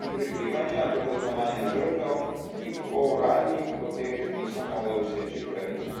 in prikrivanja do kaznovanja žrtev, ki po uradnih poteh niso mogle doseči pravice.